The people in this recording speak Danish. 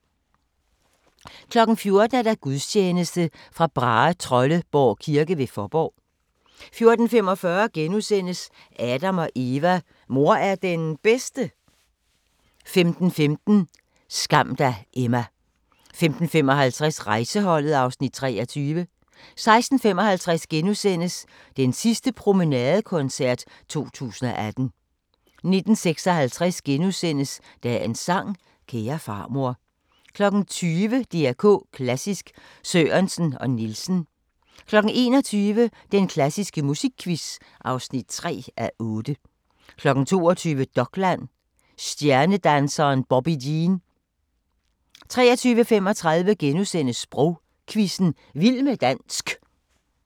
14:00: Gudstjeneste fra Brahetrolleborg kirke ved Fåborg 14:45: Adam & Eva: Mor er det bedste? * 15:15: Skam dig, Emma 15:55: Rejseholdet (Afs. 23) 16:55: Den sidste promenadekoncert 2018 * 19:56: Dagens sang: Kære farmor * 20:00: DR K Klassisk: Sørensen og Nielsen 21:00: Den klassiske musikquiz (3:8) 22:00: Dokland: Stjernedanseren Bobbi Jene 23:35: Sprogquizzen – Vild med dansk *